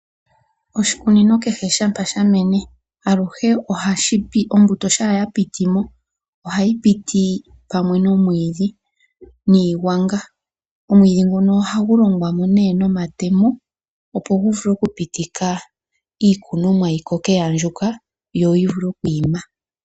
Oshikunino kehe shampa shamene aluhe ohashi ombuto shampa ya pitimo ohayi piti pamwe nomwiidhi niigwanga . Omwiidhi nguno ohagu longwamo nee nomatemo opo gu vule oku pitika iikunomwa yi koke ya andjuka yo yivule okwiima.